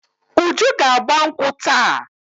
Uju ga-agba nkwụ́ taa.